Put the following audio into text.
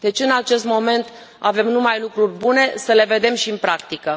Deci în acest moment avem numai lucruri bune. Să le vedem și în practică.